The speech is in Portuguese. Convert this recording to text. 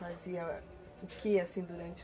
Fazia o que, assim, durante